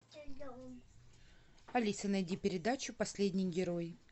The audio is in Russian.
алиса найди передачу последний герой